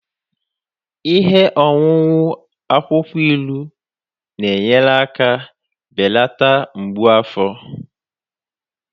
Ihe ọṅụṅụ akwukwo ilu na-enyere aka belata mgbu afọ